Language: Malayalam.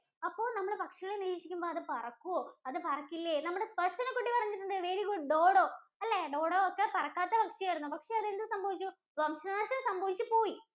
അപ്പൊ നമ്മൾ പക്ഷികളെ നിരീക്ഷിക്കുമ്പോൾ അത് പറക്കുവോ അത് പറക്കില്ലേ നമ്മുടെ ദര്‍ശന കുട്ടി പറഞ്ഞിട്ടുണ്ട് very good അല്ലേ Dodo, Dodo ഒരു പറക്കാത്ത പക്ഷിയാണ്. പക്ഷെ അതിന് എന്ത് സംഭവിച്ചു വംശനാശം സംഭവിച്ചുപോയി